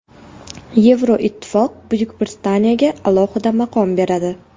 Yevroittifoq Buyuk Britaniyaga alohida maqom beradi.